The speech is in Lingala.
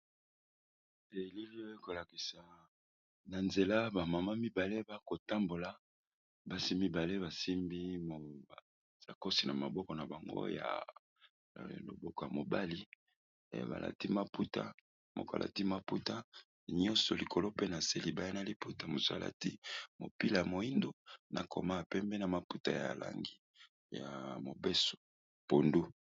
Na elili oyo ekolakisa nzela ba maman mibale bazo tambola ,basi mibale basimbi sacoche na maboko na bango ya loboko ya mobali pe balati maputa nyoso likolo nase eza na langi ya pondu.